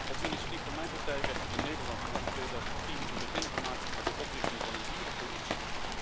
Op initiatief van mijn partij werd er in Nederland vanaf 2010 een begin gemaakt met de oprichting van een dierenpolitie.